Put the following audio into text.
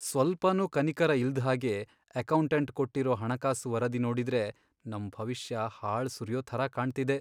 ಸ್ವಲ್ಪನೂ ಕನಿಕರ ಇಲ್ದ್ ಹಾಗೆ ಅಕೌಂಟಂಟ್ ಕೊಟ್ಟಿರೋ ಹಣಕಾಸು ವರದಿ ನೋಡಿದ್ರೆ ನಮ್ ಭವಿಷ್ಯ ಹಾಳ್ ಸುರಿಯೋ ಥರ ಕಾಣ್ತಿದೆ.